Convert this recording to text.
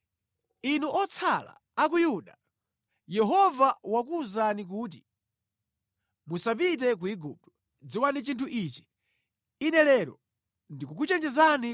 “Inu otsala a ku Yuda, Yehova wakuwuzani kuti, ‘Musapite ku Igupto.’ Dziwani chinthu ichi: Ine lero ndikukuchenjezani